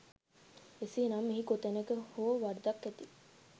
එසේ නම් මෙහි කොනැතක හෝ වරදක් ඇති